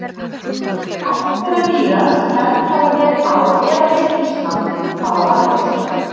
Fæst þeirra dýra sem felld hafa verið á eða við Ísland hafa varðveist.